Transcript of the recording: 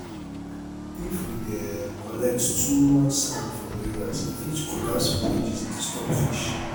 if we dey um collect too much sand from rivers e fit collapse bridges disturb fish